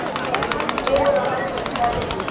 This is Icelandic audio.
um trega lekt í bergi.